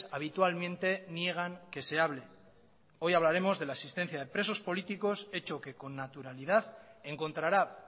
habitualmente niegan que se hable hoy hablaremos de la asistencia de presos políticos hecho que con naturalidad encontrará